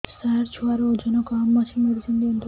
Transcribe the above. ସାର ଛୁଆର ଓଜନ କମ ଅଛି ମେଡିସିନ ଦିଅନ୍ତୁ